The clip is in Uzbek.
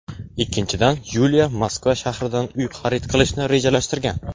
Ikkinchidan, Yuliya Moskva shahridan uy xarid qilishni rejalashtirgan.